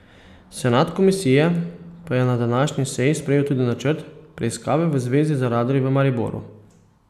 Senat komisije pa je na današnji seji sprejel tudi načrt preiskave v zvezi z radarji v Mariboru.